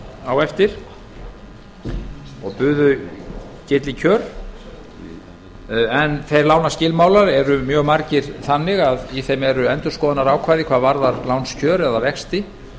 á eftir og buðu betri kjör en þeir lánaskilmálar eru mjög margir þannig að í þeim eru endurskoðunarákvæði hvað varðar lánskjör eða vexti